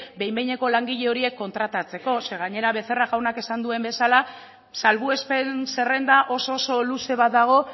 behin behineko langile horiek kontratatzeko ze gainera becerra jaunak esan duen bezala salbuespen zerrenda oso oso luze bat dago